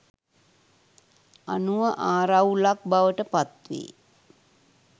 අනුව ආරවුලක් බවට පත්වේ.